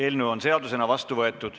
Eelnõu on seadusena vastu võetud.